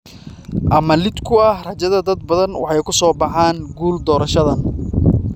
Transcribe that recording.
ama, liddi ku ah rajada dad badan, waxay ku soo baxaan guul doorashadan.